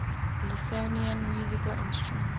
lithuanian musical instruments